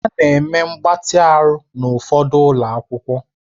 A na-eme mgbatị ahụ n'ụfọdụ ụlọ akwụkwọ